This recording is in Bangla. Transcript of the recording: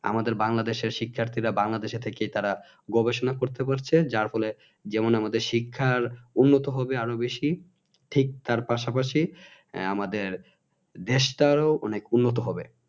আমাদের বাংলাদেশের শিক্ষার্থীরা বাংলাদেশে থেকেই তারা গবেষণা করতে পারছে যার ফলে যেমন আমাদের শিক্ষা উন্নত হবে আর বেশি ঠিক তার পাশাপাশি আহ আমাদের দেশটাও অনেক উন্নত হবে